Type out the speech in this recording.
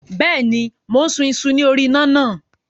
Bẹ́ẹ̀ni, mò ń sun iṣu ní orí iná náà.